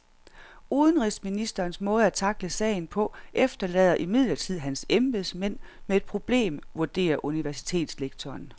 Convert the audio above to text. Udenrigsministerens måde at tackle sagen på efterlader imidlertid hans embedsmænd med et problem, vurderer universitetslektoren.